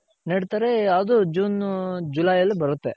ನೆಡ್ತಾರೆ ಅದುJune July ಅಲ್ಲಿ ಬರುತ್ತೆ .